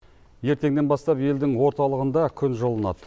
ертеңнен бастап елдің орталығында күн жылынады